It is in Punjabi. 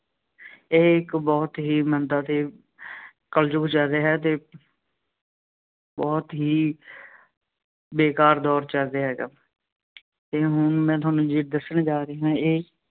ਇਹ ਇੱਕ ਬਹੁਤ ਹੀ ਮੰਦਾ ਅਤੇ ਕਲਯੁੱਗ ਚੱਲ ਰਿਹਾ ਹੈ ਅਤੇ ਬਹੁਤ ਹੀ ਬੇਕਾਰ ਦੌਰ ਚੱਲ ਰਿਹਾ ਹੈਗਾ, ਅਤੇ ਹੁਣ ਮੈਂ ਤੁਹਾਨੂੰ ਜੋ ਦੱਸਣ ਜਾ ਰਿਹਾਂ ਹਾਂ ਇਹ